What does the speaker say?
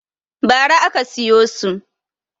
Ba ra aka siyo su